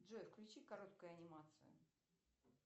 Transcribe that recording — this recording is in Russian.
джой включи короткую анимацию